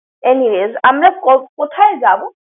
anyways, আমরা ক~ কোথায় যাবো?